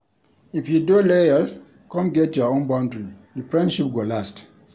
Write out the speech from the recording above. If you dey loyal come get your own boundary, di friendship go last.